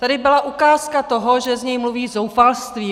Tady byla ukázka toho, že z něj mluví zoufalství.